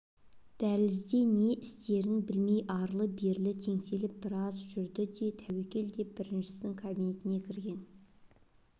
дәлізде не істерін білмей арлы-берлі теңселіп біраз жүрді де тәуекел деп біріншінің кабинетіне кірген